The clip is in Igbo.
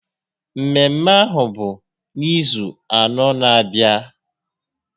Mmemme ahụ bụ n'izu anọ n'abịa